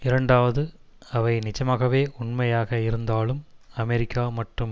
இரண்டாவது அவை நிஜமாகவே உண்மையாக இருந்தாலும் அமெரிக்கா மற்றும்